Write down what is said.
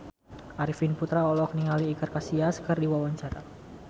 Arifin Putra olohok ningali Iker Casillas keur diwawancara